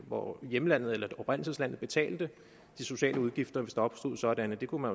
hvor hjemlandet eller oprindelseslandet betalte de sociale udgifter hvis der opstod sådanne det kunne